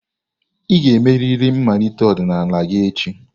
Ị ga-emerịrị mmalite ọdịnala gị echi!